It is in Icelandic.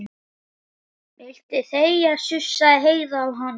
Viltu þegja, sussaði Heiða á hana.